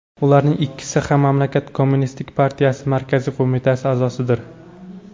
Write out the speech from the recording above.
Ularning ikkisi ham mamlakat kommunistik partiyasi markaziy qo‘mitasi a’zosidir.